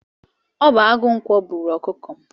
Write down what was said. Ọ bu agụ ǹkwọ bụrụ ọkụkọ m